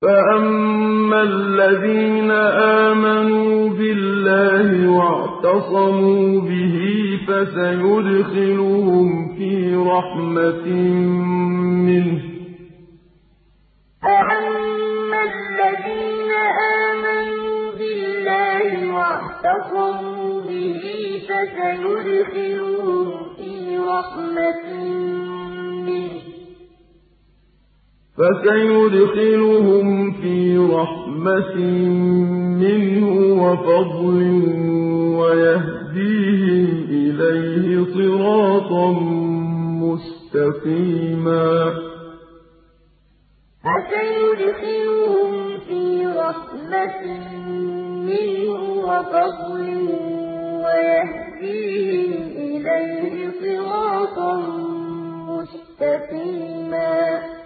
فَأَمَّا الَّذِينَ آمَنُوا بِاللَّهِ وَاعْتَصَمُوا بِهِ فَسَيُدْخِلُهُمْ فِي رَحْمَةٍ مِّنْهُ وَفَضْلٍ وَيَهْدِيهِمْ إِلَيْهِ صِرَاطًا مُّسْتَقِيمًا فَأَمَّا الَّذِينَ آمَنُوا بِاللَّهِ وَاعْتَصَمُوا بِهِ فَسَيُدْخِلُهُمْ فِي رَحْمَةٍ مِّنْهُ وَفَضْلٍ وَيَهْدِيهِمْ إِلَيْهِ صِرَاطًا مُّسْتَقِيمًا